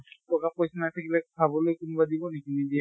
টকা পইছা নাথাকিলে খাবলৈ কোনোবাই দিন নেকি? নিদিয়ে।